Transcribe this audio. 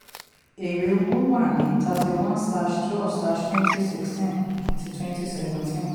èrè owó wà ní thirty-one slash twelve slash twenty sixteen àti twenty seventeen